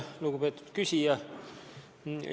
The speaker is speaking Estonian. Lugupeetud küsija!